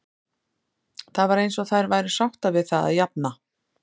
Það var eins og þær væru sáttar við það að jafna.